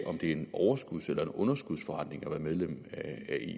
om det er en overskuds eller en underskudsforretning at være medlem af